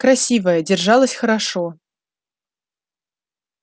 красивая держалась хорошо